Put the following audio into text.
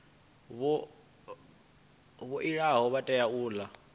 vhaoli vha tea u ola